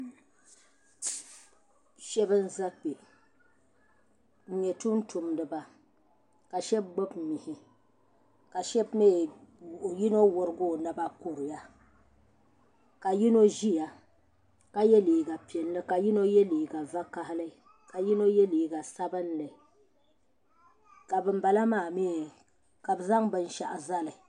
Shab n ʒɛ kpɛ m nyɛ tumtumdiba ka shab gbubi mihi ka shab mii yino worigi o naba kuriya ka yino ʒiya ka yɛ liiga piɛlli ka yino yɛ liiga vakaɣali ka yino yɛ liiga sabinli ka bin bala maa mii ka bi zaŋ binshaɣu zali